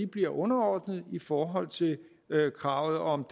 bliver underordnet i forhold til kravet om